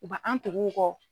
U ba an tug'u kɔ.